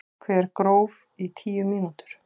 Hver gróf í tíu mínútur.